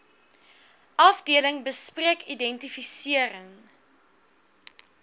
afdeling bespreek identifisering